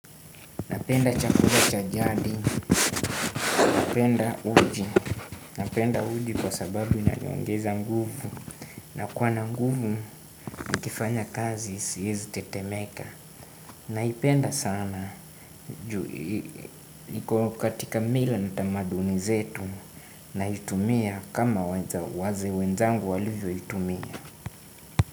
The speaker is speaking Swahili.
Napenda chakula cha jadi, napenda uji, napenda uji kwa sababu inaniongeza nguvu. Nakuwa na nguvu nikifanya kazi siezi tetemeka. Naipenda sana, juu iko katika mila na tamaduni zetu naitumia kama wazee wenzangu walivyoitumia.